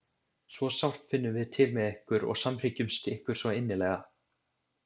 Svo sárt finnum við til með ykkur og samhryggjumst ykkur svo innilega.